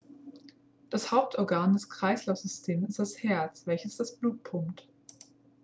das hauptorgan des kreislaufsystems ist das herz welches das blut pumpt